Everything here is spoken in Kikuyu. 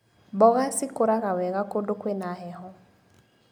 Mboga cikũraga wega kũndũ kwĩna heho.